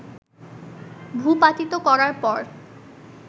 ভূপাতিত করার পর